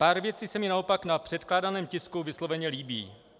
Pár věcí se mi naopak na předkládaném tisku vysloveně líbí.